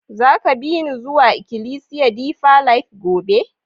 Za ka bi ni zuwa ikilisiya Deeper life gobe?